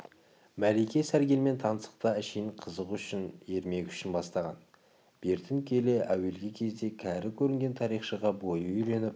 мәлике сәргелмен таныстықты әшейін қызық үшін ермек үшін бастаған бертін келе әуелгі кезде кәрі көрінген тарихшыға бойы үйреніп